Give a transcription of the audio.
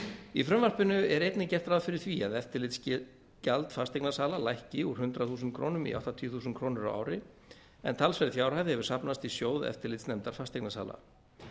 í frumvarpinu er einnig gert ráð fyrir því að eftirlitsgjald fasteignasala lækki úr hundrað þúsund krónur í áttatíu þúsund krónur á ári en talsverð fjárhæð hefur safnast í sjóð eftirlitsnefndar fasteignasala